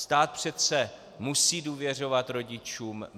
Stát přece musí důvěřovat rodičům.